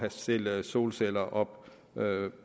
sætte solceller op